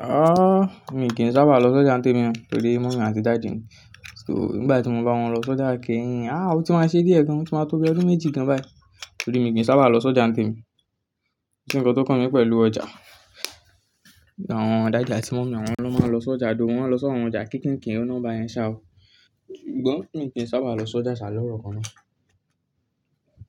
Ah! Mi kì í sábà lọ sọ́jà témi mọ́, torí mummy àti daddy mi. So, nígbà tí mo bá wọn lọ sọ́jà kẹ́yin, ah! O tí ma ṣe diẹ̀ gan, o ti máa tó bí ọdún méjì gan bá yi. Torí mi kì í sábà lọ sọ́jà témi mọ́. Kò sí nǹkan tó kàn mí pẹ̀lú ọjà? Àwọn daddy àti mummy mí àwọn ló máa ń lọ sọ́jà, though wọ́n máa n lọ sí àwọn ọjà kín kín kín ó ná bá yẹn ṣá o. Gbó, mi kì í sábà lọ sọ́jà ṣá lọ́rọ̀kan ná.